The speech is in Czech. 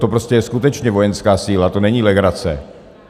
To je prostě skutečně vojenská síla, to není legrace.